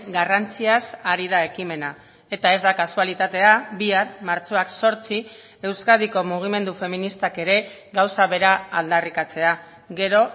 garrantziaz ari da ekimena eta ez da kasualitatea bihar martxoak zortzi euskadiko mugimendu feministak ere gauza bera aldarrikatzea gero